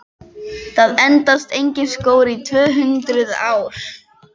Það endast engir skór í tvö-hundruð ár!